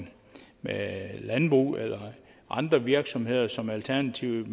med landbrug eller andre virksomheder som alternativet